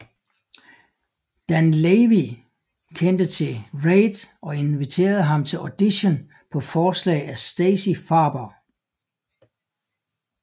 Dan Lavy kendte til Reid og inviterede ham til audition på forslag af Stacey Farber